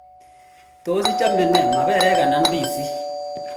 tos ichame nee maperek ana ndizik